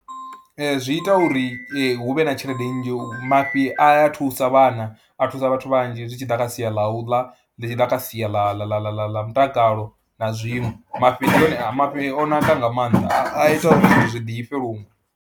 Ee, zwi ita uri hu vhe na tshelede nnzhi, mafhi a thusa vhana, a thusa vhathu vhanzhi zwi tshi ḓa kha sia ḽa u ḽa, ḽi tshi ḓa kha sia ḽa ḽa ḽa ḽa mutakalo na zwiṅwe, mafhi ane, mafhi o naka nga maanḓa a ita uri zwithu zwi ḓifhe luṅwe.